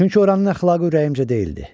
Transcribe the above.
Çünki oranın əxlaqı ürəyimcə deyildi.